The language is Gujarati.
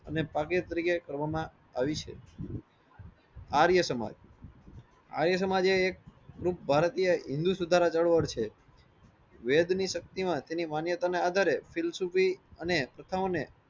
અને તરીકે કરવામાં આવી છે. આર્ય સમાજ આર્ય સમાજ એ એક ભારતીય હિન્દૂ સુધારા છે. દર વર્ષે વેદ ની શક્તિ માં તેની માન્યતા ને આધારે અને પ્રથાઓ ને